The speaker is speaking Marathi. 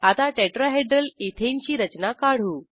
आता टेट्राहेड्रल इथेन ची रचना काढू